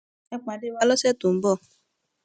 ẹ pàdé wa lọsẹ tó ń bọ